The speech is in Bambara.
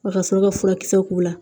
Wa ka sɔrɔ ka furakisɛ k'u la